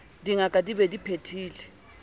dingaka di be di phethile